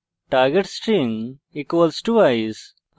target string = ice